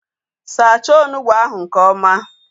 Sacha onugbu ahu nke ọma!